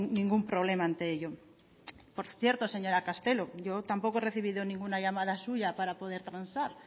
ningún problema ante ello por cierto señora castelo yo tampoco he recibido ninguna llamada suya para poder transar